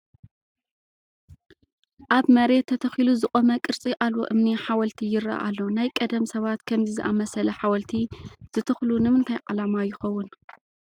ኣብ መሬት ተተኺሉ ዝቖመ ቅርፂ ኣልቦ እምኒ ሓወልቲ ይርአ ኣሎ፡፡ ናይ ቀደም ሰባት ከምዚ ዝኣምሰለ ሓወልቲ ዝተኽሉ ንምንታይ ዓላማ ይኸውን?